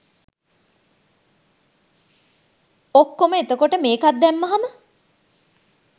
ඔක්කොම එතකොට මේකත් දැම්මහාම